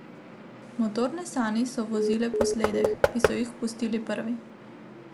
Motorne sani so vozile po sledeh, ki so jih pustile prve.